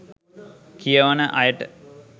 කියවන අයට